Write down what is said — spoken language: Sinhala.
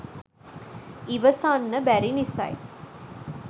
ඉවසන්න බැරි නිසයි